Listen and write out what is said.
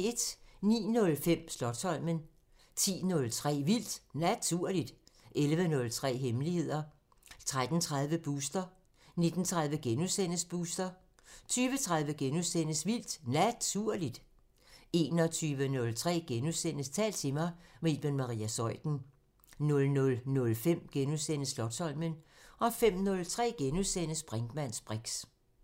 09:05: Slotsholmen 10:03: Vildt Naturligt 11:03: Hemmeligheder 13:30: Booster 19:30: Booster * 20:03: Vildt Naturligt * 21:03: Tal til mig – med Iben Maria Zeuthen * 00:05: Slotsholmen * 05:03: Brinkmanns briks *